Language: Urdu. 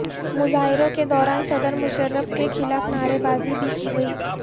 مظاہروں کے دوران صدر مشرف کے خلاف نعرے بازی بھی کی گئی